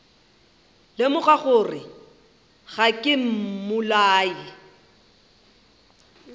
lemoga gore ga ke mmolai